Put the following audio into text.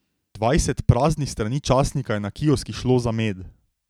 Dvajset praznih strani časnika je na kioskih šlo za med.